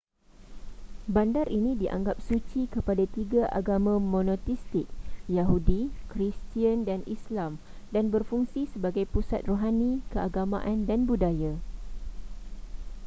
bandar ini dianggap suci kepada tiga agama monoteistik yahudi kristian dan islam dan berfungsi sebagai pusat rohani keagamaan dan budaya